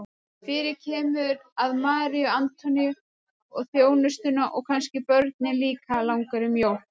Fyrir kemur að Maríu Antoníu og þjónustuna og kannski börnin líka langar í mjólk.